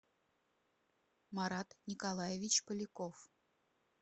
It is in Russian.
марат николаевич поляков